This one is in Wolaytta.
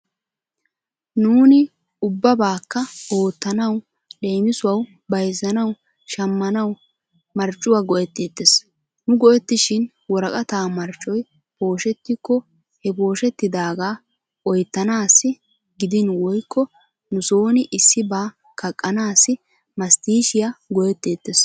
Nuuni ubbabaakka oottanawu leemisuwawu bayzzanawu shammanawu marccuwa go'etteettes. Nu go'ettishin woraqata marccoy pooshettikko he pooshettidaaga oyttanaassi gidinwoykko nu sooni issibaa kaqqanaassi masttiishiya go'etteettes.